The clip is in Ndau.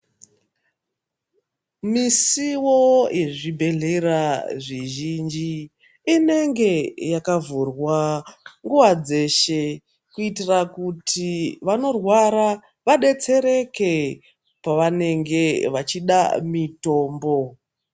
Misuwo yezvibhendlera zvizhinji inenge yakavhurwa nguwa dzeshe kuitira kuti vanorwara vadetsereke pavanenge vachida mitombo.